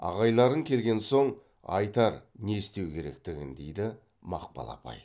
ағайларың келген соң айтар не істеу керектігін дейді мақпал апай